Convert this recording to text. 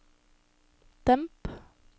demp